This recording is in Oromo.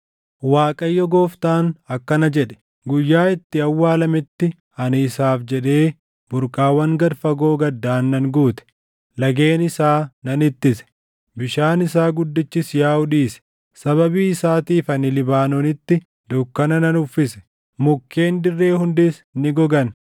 “‘ Waaqayyo Gooftaan akkana jedhe: Guyyaa inni awwaalametti ani isaaf jedhee burqaawwan gad fagoo gaddaan nan guute; lageen isaa nan ittise; bishaan isaa guddichis yaaʼuu dhiise. Sababii isaatiif ani Libaanoonitti dukkana nan uffise; mukkeen dirree hundis ni gogan.